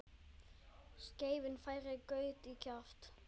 Skeiðin færir graut í kjaft.